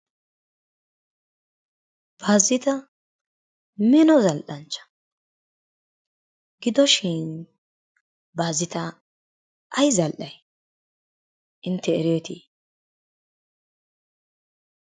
Baazita mino zal"anchcha. Giddoshin Baaziita ay zal"ay? Intte ereetti?